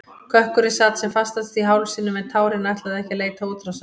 Kökkurinn sat sem fastast í hálsinum en tárin ætluðu ekki að leita útrásar.